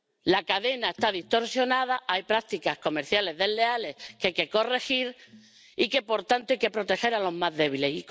La cadena está distorsionada, hay prácticas comerciales desleales que hay que corregir y, por tanto, hay que proteger a los más débiles.